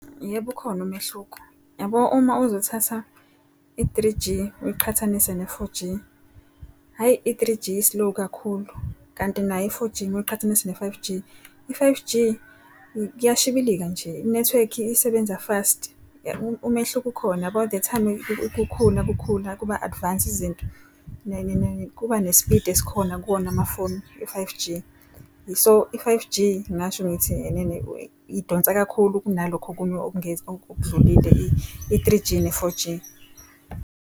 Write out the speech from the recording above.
Yebo, ukhona umehluko. Yabo uma uzothatha i-three G, uyiqhathanise ne-four G, hhayi i-three G i-slow kakhulu. Kanti nayo i-four G mawuqhathanisa ne-five G, i-five G kuyashibilika nje. Inethiwekhi isebenza fast umehluko ukhona yabo the time kukhula kukhula kuba advance izinto kuba ne-speed esikhona kuwona amafoni e-five G. So i-five G ngingasho ngithi enene idonsa kakhulu kunalokhu okunye okudlulile i-three G ne-four G.